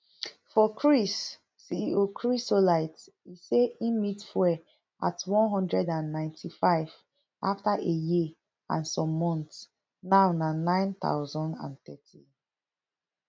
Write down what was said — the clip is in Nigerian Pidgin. for chris ceo chrysolite e say im meet fuel at n one hundred and ninety-five afta a year and some months now na none thousand and thirty